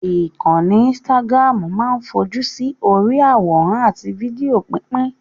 Ìkànnì Instagram máa ń fojú sí orí i àwòrán àti fídíò pípín